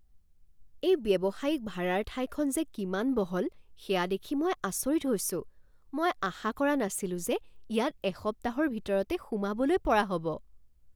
এই ব্যৱসায়িক ভাৰাৰ ঠাইখন যে কিমান বহল সেয়া দেখি মই আচৰিত হৈছোঁ। মই আশা কৰা নাছিলো যে ইয়াত এসপ্তাহৰ ভিতৰতে সোমাবলৈ পৰা হ'ব!